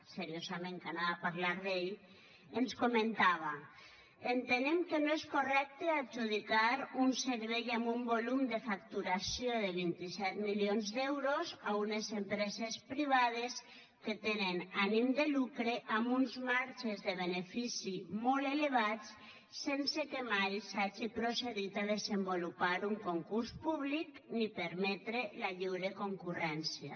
seriosament que anava a parlar d’ell ens comentava entenem que no és correcte adjudicar un servei amb un volum de facturació de vint set milions d’euros a unes empreses privades que tenen ànim de lucre amb uns marges de benefici molt elevats sense que mai s’hagi procedit a desenvolupar un concurs públic ni permetre la lliure concurrència